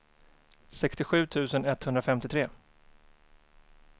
sextiosju tusen etthundrafemtiotre